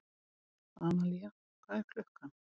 Analía, hvað er klukkan?